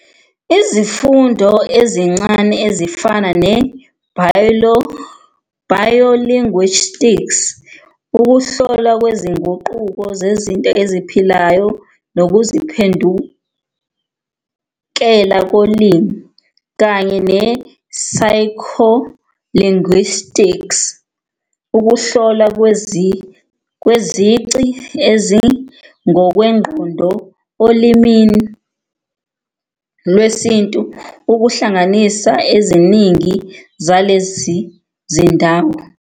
Izifundo ezincane ezifana ne-biolinguistics, ukuhlolwa kwezinguquko zezinto eziphilayo nokuziphendukela kolimi, kanye ne-psycholinguistics, "ukuhlolwa kwezici ezingokwengqondo olimini lwesintu, kuhlanganisa eziningi zalezi zindawo.